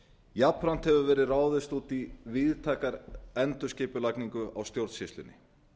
jafnframt hefur verið ráðist út í víðtæka endurskipulagningu á stjórnsýslunni